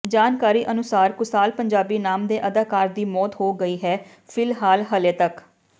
ਜਾਣਕਾਰੀ ਅਨੁਸਾਰ ਕੁਸਾਲ ਪੰਜਾਬੀ ਨਾਮ ਦੇ ਅਦਾਕਾਰ ਦੀ ਮੌਤ ਹੋ ਗਈ ਹੈ ਫਿਲਹਾਲ ਹਲੇ ਤੱਕ